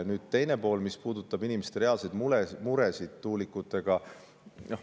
Nüüd teine pool, mis puudutab inimeste reaalseid muresid tuulikutega.